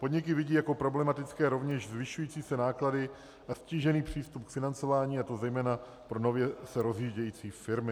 Podniky vidí jako problematické rovněž zvyšující se náklady na ztížený přístup k financování, a to zejména pro nově se rozvíjející firmy.